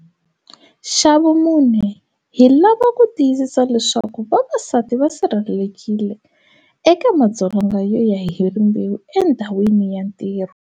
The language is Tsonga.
Xa vumune, hi lava ku tiyisisa leswaku vavasati va sirhelelekile eka madzolonga yo ya hi rimbewu endhawini ya ntirho.